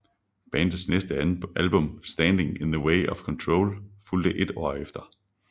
Bandets næste album Standing in the Way of Control fulgte et år efter